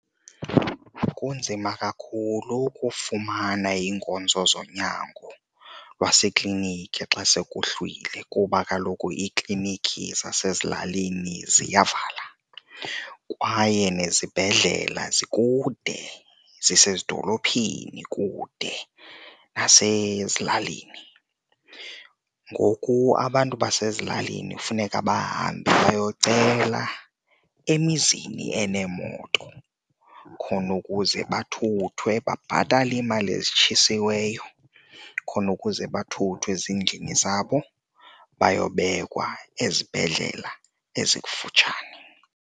Kunzima kakhulu ukufumana iinkonzo zonyango lwaseklinikhi xa sekuhlwile kuba kaloku iiklinikhi zasezilalini ziyavala kwaye nezibhedlela zikude, zisezidolophini kude nasezilalini. Ngoku abantu basezilalini funeka bahambe bayocela emizini eneemoto khona ukuze bathuthwe, babhatale iimali ezitshisiweyo khona ukuze bathuthwe ezindlini zabo bayo bekwa ezibhedlela ezikufutshane.